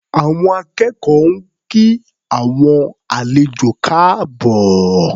Àwọn akẹ́kọ̀ọ́ ń kí àwọn àlejò káàbọ̀.